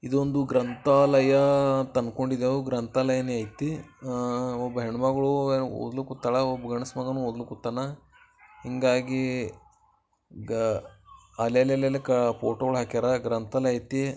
ಇದು ಒಂದು ಗ್ರಂಥಾಲಯ ಅಂತ ಅನ್ಕೊಂಡಿದೆವು ಗ್ರಂಥಾಲಯನೇ ಐತಿ ಹಾ ಒಬ್ಬ ಎಣ್ಣ್ ಮಗಳು ಒದ್ಲಾಕುತಾಳ ಒಬ್ಬ ಗಂಡ್ಸು ಬಂದನೋ ಒದ್ಲಾಕೂತನ ಇಂಗಾಗಿ ಗ ಅಲೆಲೆಲೆಲಿ ಫೋಟೋ ಗಳ್ ಹಾಕ್ಯಾರ ಗ್ರಂಥಾಲಯ ಐತಿ.